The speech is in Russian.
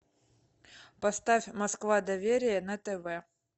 поставь москва доверие на тв